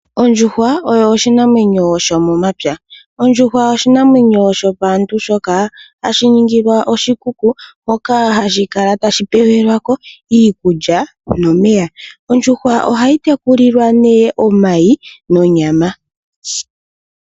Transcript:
Ondjuhwa oyo oshinamwenyo shomomapya. Ondjuhwa oshinamwenyo shopaantu shoka hashi ningilwa oshikuku moka hashi kala tashi pelwa ko iikulya nomeya. Ondjuhwa ohayi tekulilwa nee omayi nonyama.